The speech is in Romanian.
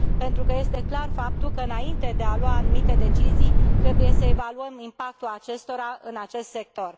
Pentru că este clar faptul că, înainte de a lua anumite decizii, trebuie să evaluăm impactul acestora în acest sector.